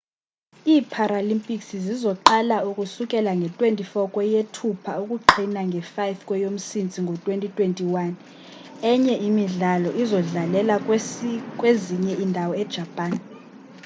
ii-paralympics zizoqala ukusukela nge-24 kweyethupha ukuqhina nge-5 kweyomsintsi ngo-2021 emnye imidlalo izodlalelwa kwezinye iindawo e-japan